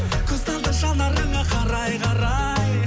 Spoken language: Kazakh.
көз талды жанарыңа қарай қарай